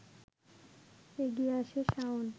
এগিয়ে আসে শাওন